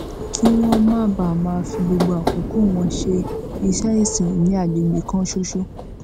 kí wón má bàa máa fi gbogbo àkókò wọn ṣe iṣé ìsìn ní àgbègbè kan ṣoṣo